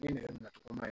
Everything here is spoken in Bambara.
Ne yɛrɛ nacogo ma